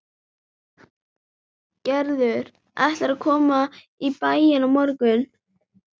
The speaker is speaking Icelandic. Gerður ætlaði að koma í bæinn á morgun.